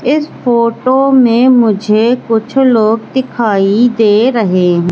इस फोटो में मुझे कुछ लोग दिखाई दे रहे हैं।